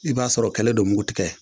I b'a sɔr'ɔ kɛlɛ don mugu tigɛ